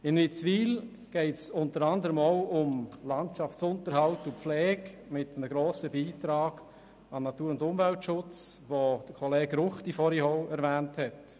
In Witzwil geht es unter anderem auch um Landschaftsunterhalt und -pflege, mit einem grossen Beitrag an den Natur- und Umweltschutz, der vorhin auch von Kollege Ruchti erwähnt worden ist.